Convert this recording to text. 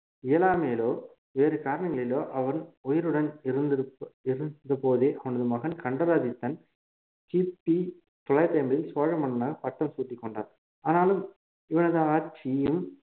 இயலாமையிலோ வேறு காரணங்களிலோ அவன் உயிருடன் இருந்த~ இருந்தபோதே அவனது மகன் கண்டராதித்தன் கிபி தொள்ளாயிரத்து ஐம்பதில் சோழ மன்னனாக பட்டம் சூட்டிக்கொண்டார் ஆனாலும் இவனது ஆட்சியில்